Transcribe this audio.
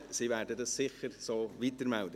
Sie werden dies sicher so weitermelden.